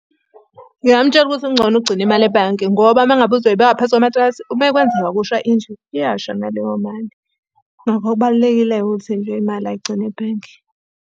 Ngingamutshela ukuthi kungcono ukugcina imali ebhanke ngoba uma ngabe uzoyibeka ngaphansi komatilasi, uma kwenzeka kusha inju, iyasha naleyo mali. Ngakho kubalulekile-ke ukuthi nje imali ayigcine ebhenki.